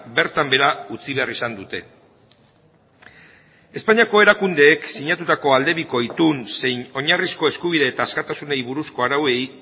bertan behera utzi behar izan dute espainiako erakundeek sinatutako aldebiko itun zein oinarrizko eskubide eta askatasunei buruzko arauei